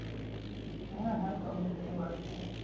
হ্যাঁ হ্যাঁ সব বুঝতেই পারছি।